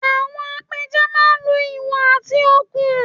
Àwọn apẹja máa ń lo ìwọ̀ àti okùn